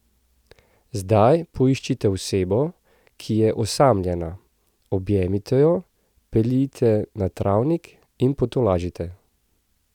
Zdaj poiščite osebo, ki je osamljena, objemite jo, peljite na travnik in potolažite.